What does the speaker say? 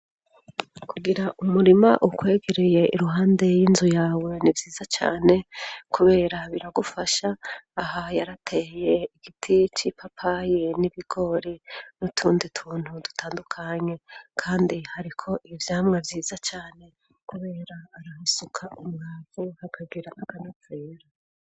Kugira umurima ukwegereye iruhande y'inzu yawe ni vyiza cane kubera biragufasha. Aha yarateye igiti c'ipapayi n'ibigori n'utundi tuntu dutandukanye kandi hariko ivyamwa vyiza cane kubera ahasuka umwavu hakagira akanovera.